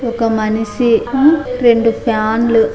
ఒక మనిషి ఆ రెండు ఫ్యాన్లు --